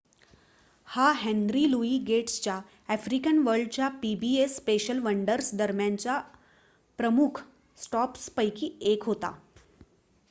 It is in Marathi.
हा हेन्री लुई गेट्सच्या आफ्रिकन वर्ल्डच्या पीबीएस स्पेशल वंडर्स दरम्यानच्या प्रमुख स्टॉप्स पैकी 1 होता